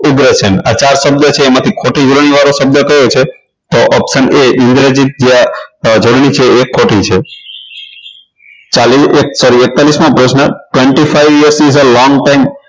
આ ચાર શબ્દો છે એમાં ખોટી જોડણીવાળો શબ્દ તો ઓપ્શન એ ઇન્દ્રજીત જોડણી છે એ ખોટી છે એક્તાલીસ મો પ્રશ્ન twenty five years is the long time